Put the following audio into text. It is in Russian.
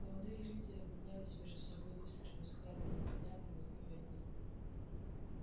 молодые люди обменялись между собой быстрыми взглядами понятными им одним